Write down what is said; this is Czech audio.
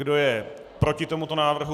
Kdo je proti tomuto návrhu?